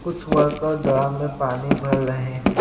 कुछ worker drum में पानी भर रहे हैं।